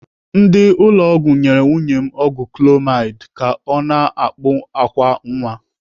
Ndị ụlọ ọgwụ nyere nwunye m ọgwụ clomid ka ọ na-akpụ àkwá nwa.